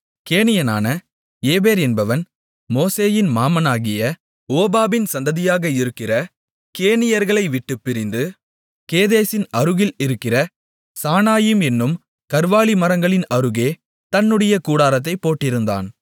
கேனியனான ஏபேர் என்பவன் மோசேயின் மாமனாகிய ஓபாபின் சந்ததியாக இருக்கிற கேனியர்களை விட்டுப் பிரிந்து கேதேசின் அருகில் இருக்கிற சானாயிம் என்னும் கர்வாலி மரங்களின் அருகே தன்னுடைய கூடாரத்தைப் போட்டிருந்தான்